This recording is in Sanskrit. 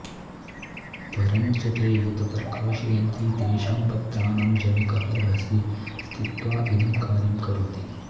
परञ्च ते यत् प्रकाशयन्ति तेषां पत्राणां जनकः रहसि स्थित्वा इदं कार्यं करोति